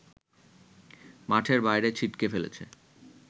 মাঠের বাইরে ছিটকে ফেলেছে